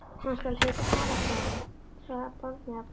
Hann skal heita Ara-Gráni, svaraði barnið að bragði.